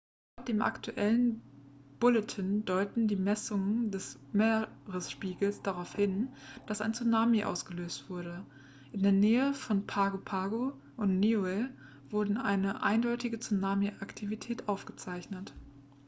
laut dem aktuellen bulletin deuteten die messungen des meeresspiegels darauf hin dass ein tsunami ausgelöst wurde in der nähe von pago pago und niue wurde eine eindeutige tsunami-aktivität aufgezeichnet